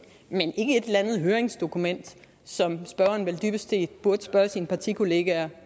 men ikke et eller andet høringsdokument som spørgeren vel dybest set burde spørge sine partikollegaer